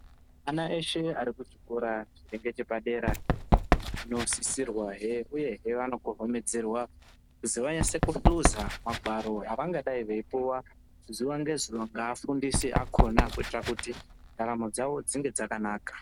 Ana eshe arikuchikora chiri ngechepadera anosisirwa he uye anokokomedzerwa kuziva esekuluza magwaro evangadei veipuwa zuwa ngezuwa ngeafundisi akona kuitira kuti ndaramo dzawo dzinge dzakanaka